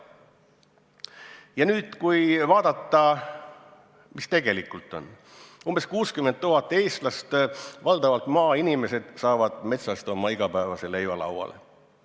Kui nüüd vaadata, mis tegelikult on: umbes 60 000 eestlast, valdavalt maainimesed, saavad metsast oma igapäevase leiva lauale.